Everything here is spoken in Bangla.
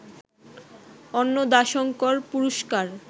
অন্নদাশঙ্কর পুরস্কার